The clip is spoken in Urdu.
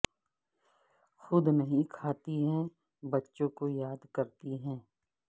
خود نہیں کھاتی ہے بچوں کو دیا کرتی ہے